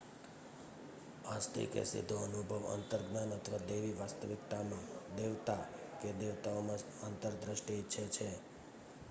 આસ્તિક એક સીધો અનુભવ અંતર્જ્ઞાન અથવા દૈવી વાસ્તવિકતામાં / દેવતા કે દેવતાઓમાં આંતરદૃષ્ટિ ઇચ્છે છે